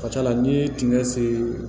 Ka ca ala n'i ye dingɛ sen